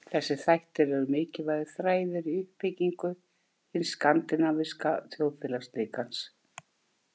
Þessir þættir eru mikilvægir þræðir í uppbyggingu hins skandinavíska þjóðfélagslíkans.